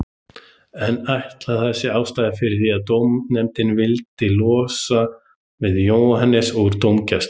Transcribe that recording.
En ætli það sé ástæðan fyrir því að dómaranefndin vilji losna við Jóhannes úr dómgæslu?